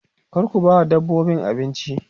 kar ku bawa dabbobin abinci